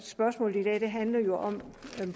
spørgsmålet i dag handler jo om